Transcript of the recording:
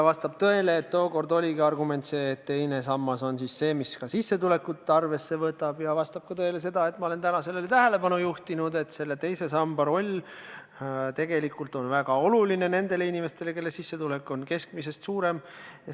Vastab tõele, et tookord oli argument see, et just teine sammas võtab arvesse sissetulekut, ja vastab ka tõele, et ma olen sellele täna tähelepanu juhtinud, et teine sammas on tegelikult väga oluline nendele inimestele, kelle sissetulek on keskmisest suurem.